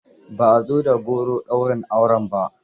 Ba a zo da goro ɗaurin auren ba.